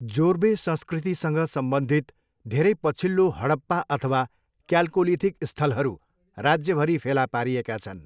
जोर्वे संस्कृतिसँग सम्बन्धित धेरै पछिल्लो हडप्पा अथवा क्याल्कोलिथिक स्थलहरू राज्यभरि फेला पारिएका छन्।